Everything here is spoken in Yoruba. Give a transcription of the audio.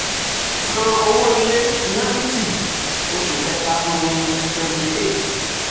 san owó ilé ninety oṣù kẹta um twenty eight.